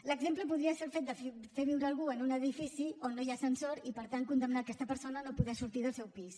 l’exemple podria ser el fet de fer viure algú en un edifici on no hi ha ascensor i per tant condemnar aquesta persona a no poder sortir del seu pis